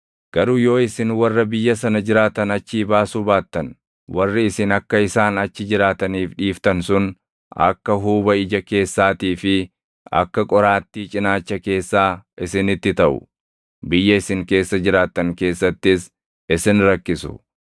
“ ‘Garuu yoo isin warra biyya sana jiraatan achii baasuu baattan, warri isin akka isaan achi jiraataniif dhiiftan sun akka huuba ija keessaatii fi akka qoraattii cinaacha keessaa isinitti taʼu. Biyya isin keessa jiraattan keessattis isin rakkisu.